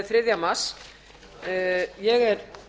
þriðja mars ég er